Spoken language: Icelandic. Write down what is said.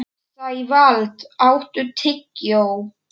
Sævald, áttu tyggjó?